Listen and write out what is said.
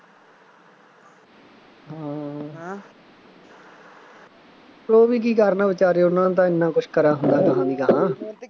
ਹਾਂ ਉਹ ਵੀ ਕਰਨ ਬੇਚਾਰੇ ਉਹਨਾ ਨੂੰ ਤਾਂ ਐਨਾ ਕੁੱਛ ਕਰਿਆ ਹੁੰਦਾ ਅਗਾਂਹ ਦੀ ਅਗਾਂਹ